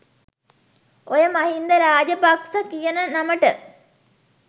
ඔය මහින්ද රාජපක්ස කියන නමට